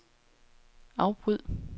afbryd